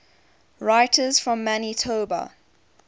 writers from manitoba